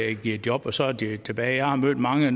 ikke giver job og så er det tilbage jeg har mødt mange